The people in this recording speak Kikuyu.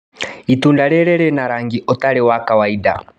Itunda rĩrĩ rĩna rangi ũtarĩ wa kawainda.